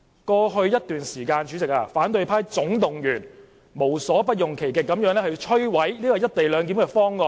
過去一段時間，反對派總動員無所不用其極意圖摧毀"一地兩檢"方案。